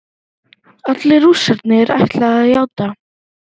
Allir Rússarnir ætla að játa